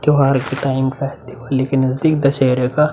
त्यौहार के टाइम का दिवाली के नज़दीक दशहरे का --